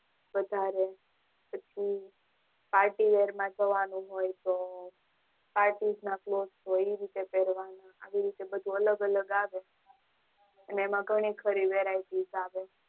વધારે પછી ખાસ Ear માટે જવાનું હોય તો Parties માં cloth પેરવાનું હોય આવી રીતે બધું અલગ અલગ આવે અને એમાં ઘણી બધી Varieties આવે